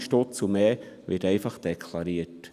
10 000 Stutz und mehr werden einfach deklariert!